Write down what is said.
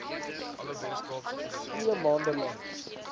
twee maande lank